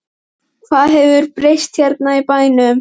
Hvað hefur breyst hérna í bænum?